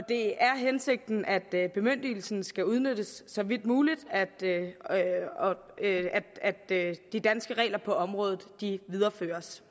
det er hensigten at bemyndigelsen skal udnyttes så vidt muligt og at de danske regler på området videreføres